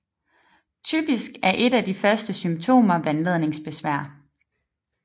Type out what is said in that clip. Typisk er et af de første symptomer vandladningsbesvær